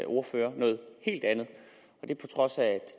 ordfører noget helt andet på trods af at